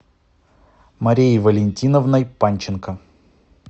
марией валентиновной панченко